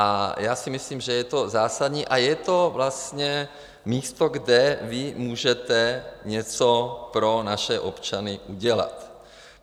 A já si myslím, že je to zásadní a je to vlastně místo, kde vy můžete něco pro naše občany udělat.